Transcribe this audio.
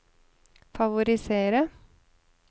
favorisere